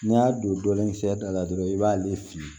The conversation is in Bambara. N'i y'a don dɔɔni fiyɛ da la dɔrɔn i b'ale fili